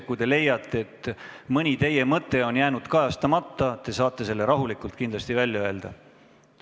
Kui leiate, et mõni teie mõte on jäänud kajastamata, saate selle rahulikult suurele saalile välja öelda.